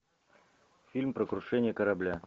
фильм про крушение корабля